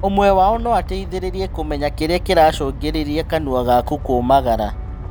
ũmwe wao noateithĩrĩrie kũmenya kĩrĩa kĩracũngĩrĩria kanua gaku kũmagara